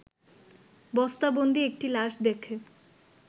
বস্তাবন্দী একটি লাশ দেখে